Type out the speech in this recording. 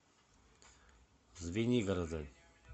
звенигорода